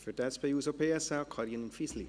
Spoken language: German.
Für die SP-JUSO-PSA, Karin Fisli.